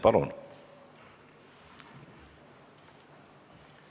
Palun!